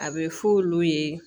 A bɛ f'olu ye